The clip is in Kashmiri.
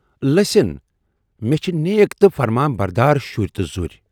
لٔسِن! مے چھِ نیک تہٕ فرمابردار شُرۍ تہٕ ذُرۍ۔